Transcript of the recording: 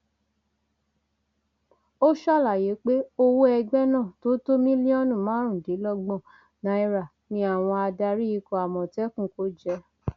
ó ṣàlàyé pé owó ẹgbẹ náà tó tó mílíọnù márùndínlọgbọn náírà ni àwọn adarí ikọ àmọtẹkùn kò jẹ